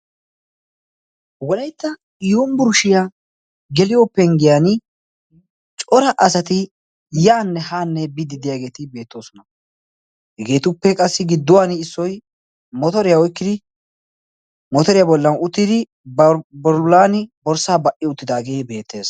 walaitta yomiburshiyaa geliyopenggiyan cora asati yaanne haanne biddi deyaageeti beettoosona hegeetuppe qassi gidduwan issoi dimotoriyaa bollan uttidi babarulan borssaa ba77i uttidaagee beettees